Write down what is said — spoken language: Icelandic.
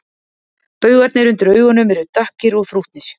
Baugarnir undir augunum eru dökkir og þrútnir